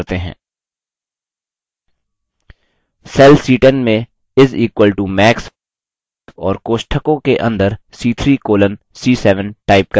cell c10 में is equal to max और कोष्ठकों के अंदर c3 colon c7 type करें